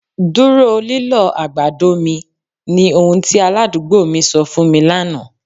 Dúró lílọ̀ agbàdọ̀ mi, ni ọhun ti aládùgbò̀ mi sọ̀ fún mi lánà.